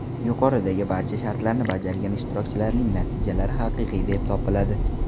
Yuqoridagi barcha shartlarni bajargan ishtirokchilarning natijalari haqiqiy deb topiladi.